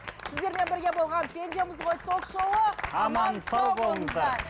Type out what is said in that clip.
сіздермен бірге болған пендеміз ғой то шоуы аман сау болыңыздар